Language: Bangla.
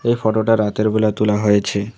এই ফটো -টা রাতেরবেলা তোলা হয়েছে।